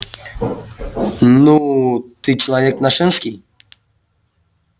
ну ты человек нашенский